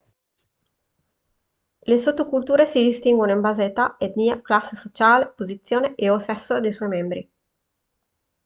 le sottoculture si distinguono in base a età etnia classe sociale posizione e/o sesso dei suoi membri